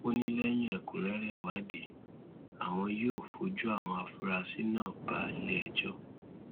ó ní lẹyìn ẹkúnrẹrẹ ìwádìí àwọn yóò fojú àwọn afurasí náà bá iléẹjọ